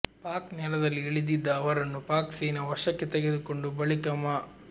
ಪಾಕ್ ನೆಲದಲ್ಲಿ ಇಳಿದಿದ್ದ ಅವರನ್ನು ಪಾಕ್ ಸೇನೆ ವಶಕ್ಕೆ ತೆಗೆದುಕೊಂಡು ಬಳಿಕ ಮಾ